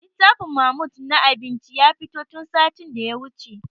Littafin mahmud na abinci ya fito tun satin da ya wuce